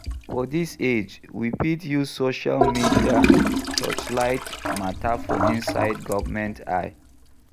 For this age, we fit use social media touch light matter for inside government eye